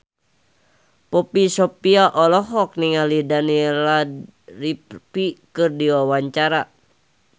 Poppy Sovia olohok ningali Daniel Radcliffe keur diwawancara